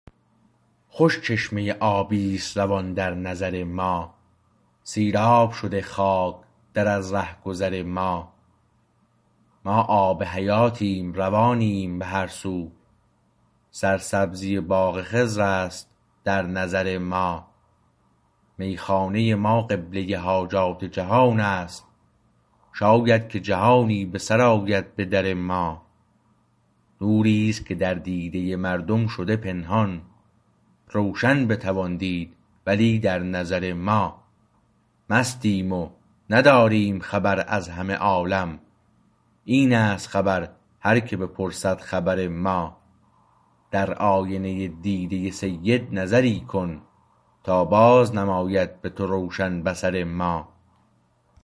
خوش چشمه آبی است روان در نظر ما سیراب شده خاک در از رهگذر ما ما آب حیاتیم روانیم به هر سو سرسبزی باغ خضر است در نظر ما میخانه ما قبله حاجات جهانست شاید که جهانی به سر آید به در ما نوریست که در دیده مردم شده پنهان روشن بتوان دید ولی در نظر ما مستیم و نداریم خبر از همه عالم اینست خبر هر که بپرسد خبر ما در آینه دیده سید نظری کن تا باز نماید به تو روشن بصر ما